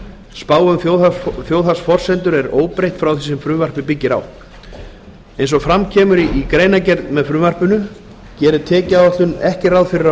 spá um þjóðhagsforsendur er óbreytt frá því sem frumvarpið byggir á eins og fram kemur í greinargerð með frumvarpinu gerir tekjuáætlun ekki ráð fyrir að